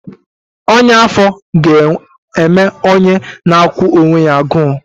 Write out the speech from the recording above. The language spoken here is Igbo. Ọnya afọ ga-eme onye na-akwụ onwe ya agụụ